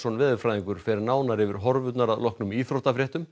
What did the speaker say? veðurfræðingur fer nánar yfir horfurnar að loknum íþróttafréttum